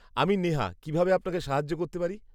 -আমি নেহা, কীভাবে আপনাকে সাহায্য করতে পারি?